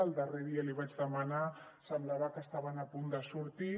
el darrer dia l’hi vaig demanar semblava que estaven a punt de sortir